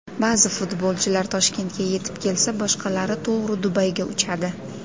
Ba’zi futbolchilar Toshkentga yetib kelsa, boshqalari to‘g‘ri Dubayga uchadi.